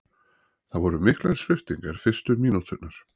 Það voru miklar sviptingar fyrstu mínúturnar